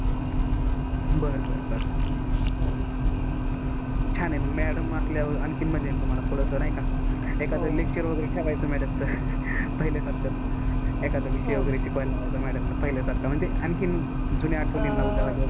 छान आहे मग madam असल्यावर आणखीन मजा येईल तुम्हाला थोडस नाही का एखाद lecture वगैरे ठेवायचं madam च पहिल्यासारखा म्हणजे एखादा विषय वगैरे शिकवायला लावायचा madam ला. म्हणजे आणखीन जुन्या आठवणींना उजाळा मिळतो.